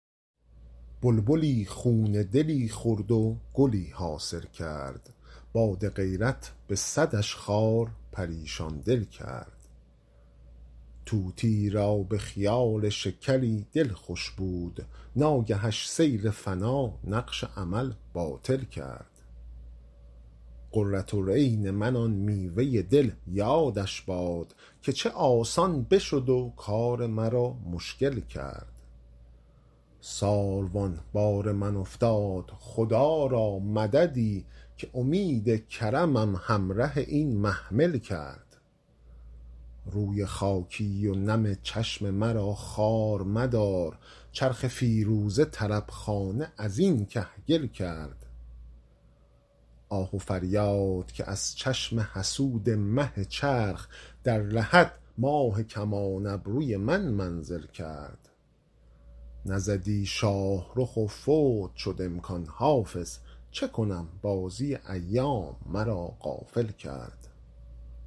بلبلی خون دلی خورد و گلی حاصل کرد باد غیرت به صدش خار پریشان دل کرد طوطیی را به خیال شکری دل خوش بود ناگهش سیل فنا نقش امل باطل کرد قرة العین من آن میوه دل یادش باد که چه آسان بشد و کار مرا مشکل کرد ساروان بار من افتاد خدا را مددی که امید کرمم همره این محمل کرد روی خاکی و نم چشم مرا خوار مدار چرخ فیروزه طرب خانه از این کهگل کرد آه و فریاد که از چشم حسود مه چرخ در لحد ماه کمان ابروی من منزل کرد نزدی شاه رخ و فوت شد امکان حافظ چه کنم بازی ایام مرا غافل کرد